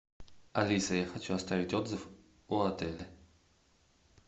алиса я хочу оставить отзыв о отеле